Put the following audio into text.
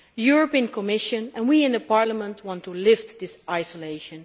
The European Commission and we in Parliament want to lift this isolation.